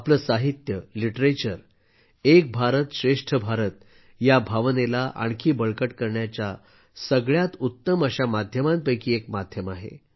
आपलं साहित्य लिटरेचर एक भारत श्रेष्ठ भारत या भावनेला आणखी बळकट करण्याच्या सगळ्यात उत्तम अशा माध्यमांपैकी एक माध्यम आहे